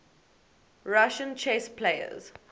russian chess players